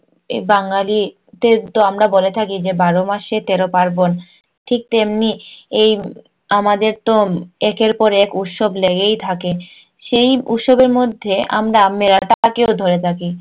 এ বাঙ্গালীদের তো আমরা বলে থাকি যে বারো মাসে তেরো পার্বণ ঠিক তেমনি এই আমাদের তো একের পর এক উৎসব লেগেই থাকে সেই উৎসবের মধ্যে আমরা মেলাটাকেও ধরে থাকি